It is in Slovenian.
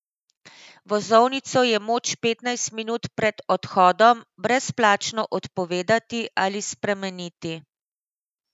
Vozovnico je moč petnajst minut pred odhodom brezplačno odpovedati ali spremeniti.